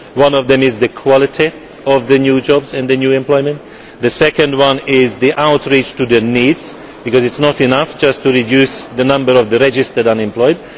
One of them is the quality of the new jobs and the new employment. The second one is outreach to their needs because it is not enough just to reduce the number of registered unemployed